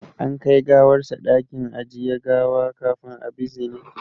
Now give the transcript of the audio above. An kai gawarsa dakin ajiye gawa kafin a bizine